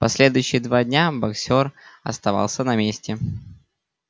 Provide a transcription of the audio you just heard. последующие два дня боксёр оставался на месте